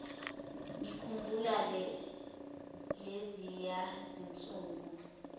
ngikhumbula leziya zinsuku